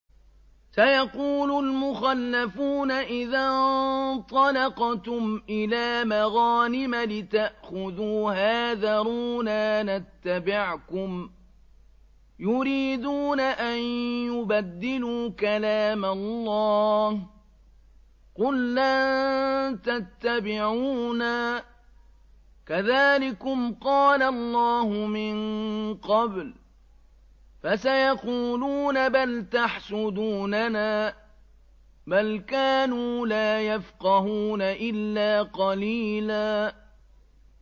سَيَقُولُ الْمُخَلَّفُونَ إِذَا انطَلَقْتُمْ إِلَىٰ مَغَانِمَ لِتَأْخُذُوهَا ذَرُونَا نَتَّبِعْكُمْ ۖ يُرِيدُونَ أَن يُبَدِّلُوا كَلَامَ اللَّهِ ۚ قُل لَّن تَتَّبِعُونَا كَذَٰلِكُمْ قَالَ اللَّهُ مِن قَبْلُ ۖ فَسَيَقُولُونَ بَلْ تَحْسُدُونَنَا ۚ بَلْ كَانُوا لَا يَفْقَهُونَ إِلَّا قَلِيلًا